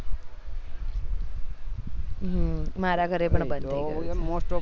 હ મારે ઘરે પણ બંધ થઇ ગયા